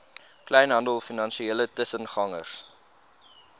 kleinhandel finansiële tussengangers